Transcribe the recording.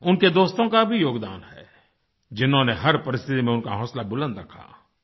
उनके दोस्तों का भी योगदान है जिन्होंने हर परिस्थिति में उनका हौंसला बुलन्द रखा